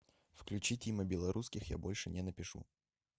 включи тима белорусских я больше не напишу